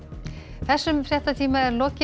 þessum fréttatíma er lokið